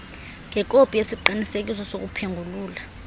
ngekopi yesiqinisekiso sokuphengulula